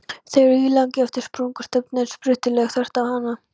Þeir eru ílangir eftir sprungustefnunni en strýtulaga þvert á hana.